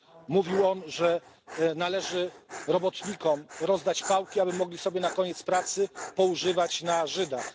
Mówił on, że należy robotnikom rozdać pałki, aby mogli sobie na koniec pracy poużywać na Żydach.